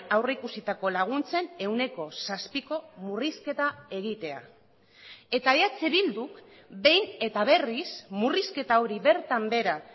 aurreikusitako laguntzen ehuneko zazpiko murrizketa egitea eta eh bilduk behin eta berriz murrizketa hori bertan behera